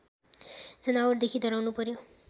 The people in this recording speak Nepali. जनावरदेखि डराउनु पर्‍यो